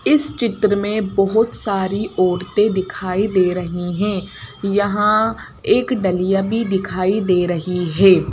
इस चित्र में बहोत सारी औरतें दिखाई दे रही है यहां एक डलियां भी दिखाई दे रही है।